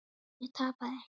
Ég tapaði.